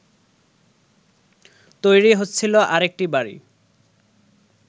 তৈরি হচ্ছিল আরেকটি বাড়ি